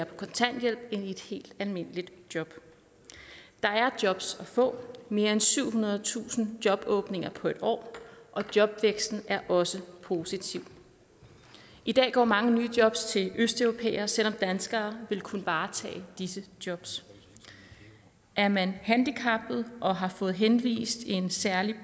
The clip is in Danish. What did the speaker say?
på kontanthjælp end i et helt almindeligt job der er jobs at få der mere end syvhundredetusind jobåbninger på et år og jobvæksten er også positiv i dag går mange nye jobs til østeuropæere selv om danskere ville kunne varetage disse jobs er man handicappet og har fået anvist en særlig